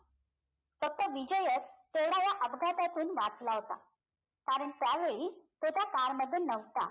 फक्त विजयच तेवढा ह्या अपघातातून वाचला होता कारण त्यावेळी तो car त्या मध्ये नवता